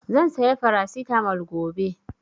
Zan saya Farasitamol gobe